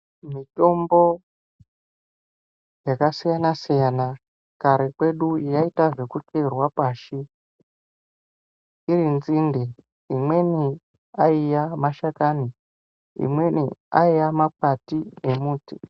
Mitombo yakasiyana siyana kare kwedu yaita zvekucherwa pashi iri nzinde, imweni ayiya mashakani ,imweni ayiya makwati emuti.